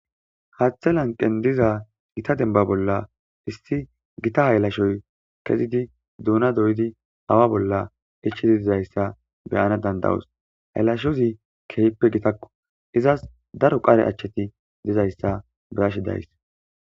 haththe lanqen diza gita demba bolla issi gita haylashoy kezidi duuna doyidi awa bolla ichidi dizayssa beyana dandawos haylashozi kehppe gitakko izas daro qare achcheti dizayssa birashe days